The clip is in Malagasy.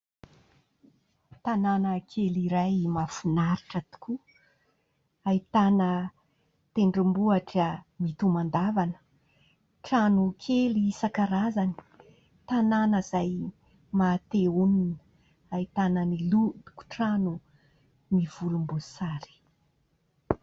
Tanàna kely iray mahafinaritra tokoa : ahitana tendrombohitra mitomandavana, trano kely isan-karazany. Tanàna izay maha te honina, ahitana ny lokon-trano mivolomboasary.